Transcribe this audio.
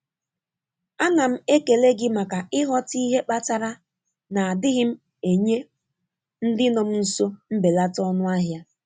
A na m ekele gị maka ịghọta ihe kpatara na adịghị m enye ndị nọ m nso mbelata ọnụahịa.